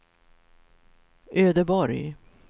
Ödeborg